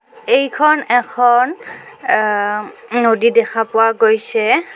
এইখন এখন আম্ নদী দেখা পোৱা গৈছে.